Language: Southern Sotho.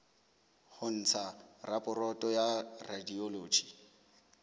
ho ntsha raporoto ya radiology